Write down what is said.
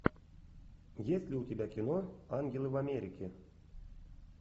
есть ли у тебя кино ангелы в америке